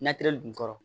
mɛtiri dun kɔrɔ